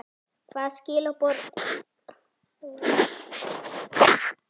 Hvaða skilaboð er verið að senda okkur með þessari kosningu?